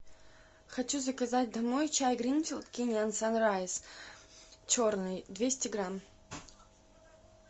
хочу заказать домой чай гринфилд кениан санрайз черный двести грамм